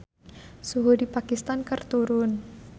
Suhu di Pakistan keur turun